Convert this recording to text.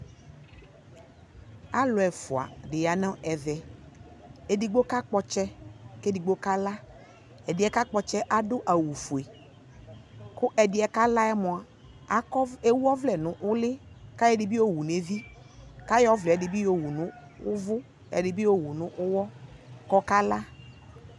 Alʋ ɛfua di ya nʋ ɛvɛ Ɛdigbo kakpɔ ɔtsɛ kʋ ɛdigbo kala Ɛdiɛ kakpɔ ɔtsɛ ɛ adʋ awʋ fue kʋ ɛdiɛ kala yɛ moa akɔ, ewu ɔvlɛ nʋ ʋli kʋ ayɔ ɛdi bi yɔwu nʋ ɛvi kʋ ayɔ ɔvlɛ di bi yɔwʋ nʋ ʋvʋ, yɔ ɛdi bi yɔwu nʋ ʋwɔ kʋ ɔkala